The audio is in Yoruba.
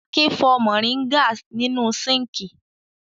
Akin fọ mòríngà nínú síńkì.